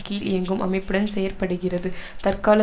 கீழ் இயங்கும் அமைப்புடன் செயற்படுகிறது தற்கால